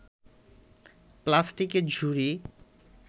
প্লাস্টিকের ঝুড়ি